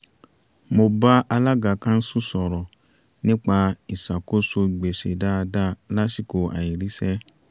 mo bá alága káńsù sọ̀rọ̀ nípa ìṣàkóso gbèsè dáadáa lásìkò àìríṣẹ́